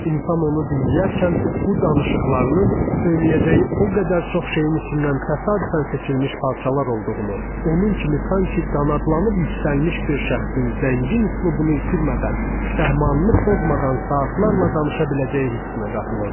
İnsan onu dinləyərkən bu danışıqlarının söyləyəcəyi o qədər çox şeyin içindən təsadüfən seçilmiş parçalar olduğunu, onun kimi sanki qanadlanıb yüksəlmiş bir şəxsin zəngin üslubunu itirmədən, səhmanını pozmadan saatlarla danışa biləcəyi hissinə qapılırdı.